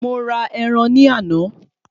Mo ra ẹran ní àná